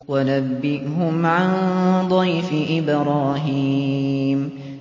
وَنَبِّئْهُمْ عَن ضَيْفِ إِبْرَاهِيمَ